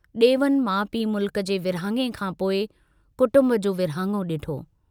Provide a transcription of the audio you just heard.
डेवन माउ पीउ मुल्क जे विरहाङे खांपोइ कुटम्ब जो विरहाङो डिठो।